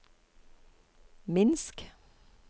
Minsk